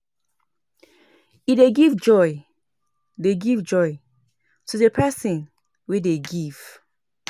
e dey give joy dey give joy to the person wey dey give